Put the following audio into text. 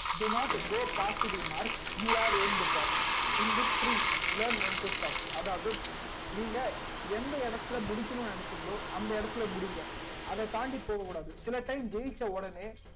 do not go past the mark you are end for in victory for learn when to stop அதாவது நீங்க எந்த ஏடதுல முடிக்கணுமுனு நினச்சிங்கலோ அந்த எட்டதுல முடிங்க அத தாண்டி போக கூடாது சில time ஜெயிச்ச உடனே